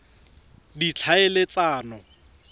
ditlhaeletsano